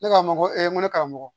Ne k'a ma ko ee n ko ne karamɔgɔ